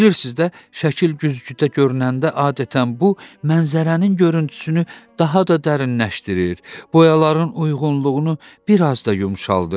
Bilirsiz də, şəkil güzgüdə görünəndə adətən bu mənzərənin görüntüsünü daha da dərinləşdirir, boyaların uyğunluğunu bir az da yumşaldır.